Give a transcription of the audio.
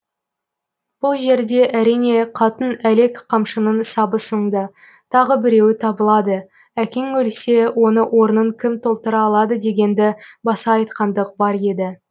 бұл жерде әрине қатын әлек қамшының сабы сынды тағы біреуі табылады әкең өлсе оны орнын кім толтыра алады дегенді баса айтқандық бар еді